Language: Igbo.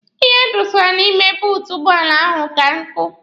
Ihe a dọsara n'ime buutu ụgbọala ahụ ka nkụ.